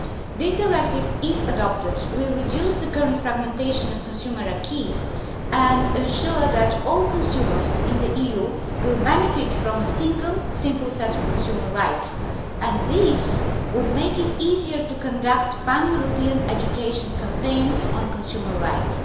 This directive, if adopted, will reduce the current fragmentation of the consumer acquis and ensure that all consumers in the EU will benefit from a single simple set of consumer rights, and this would make it easier to conduct pan European education campaigns on consumer rights.